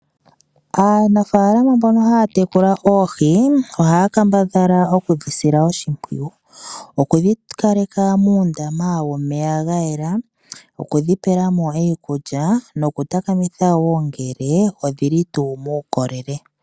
Aanafaalama mbono haya tekula oohi, ohaya kambadhala oku dhi sila oshimpwiyu. Oku dhi kaleka muundama womeya gayela oku dhi pelamo iikulya, noku takamitha wo ngele odhi li tuu muukolele.